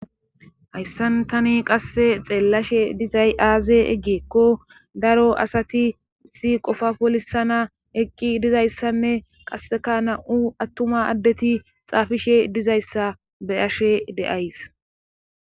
hayssan tani qasse xeellashe dizay aaze eggeekko daro asati si qofa polisana eqqi dizayssanne qasseka na7u attuma addeti xaafishe dizayssa beyashe deays